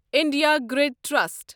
India grid trust